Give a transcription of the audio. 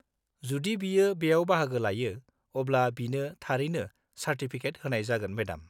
जुदि बियो बेयाव बाहागो लायो, अब्ला बिनो थारैनो चार्टिफिकेट होनाय जागोन, मेडाम।